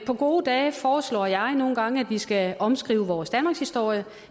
på gode dage foreslår jeg nogle gange at vi skal omskrive vores danmarkshistorie